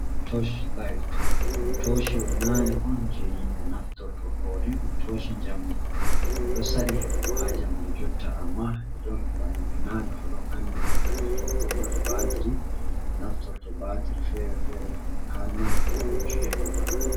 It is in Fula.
Tosh light, ɗum toshi o nane on je himɓe naftorto ɗo ɗun toshi jamɗi do sadi hebugo ha jamanu jotta, amma i ɗon mar himɓe nane fu ɗon andiɗi ngam di ɗon bo mari batri ɗi naftorto batri fere-fere ha nai, kobo jyego ma ha nder.